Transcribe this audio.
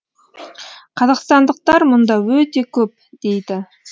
қазақстандықтар мұнда өте көп дейді